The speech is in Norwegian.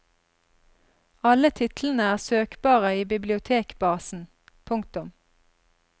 Alle titlene er søkbare i bibliotekbasen. punktum